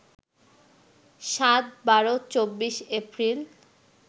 ৭, ১২, ২৪ April